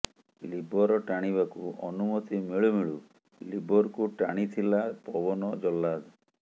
Libre ଟାଣିବାକୁ ଅନୁମତି ମିଳୁମିଳୁ ଲିବରକୁ ଟାଣିଥିଲା ପବନ ଜହ୍ଲାଦ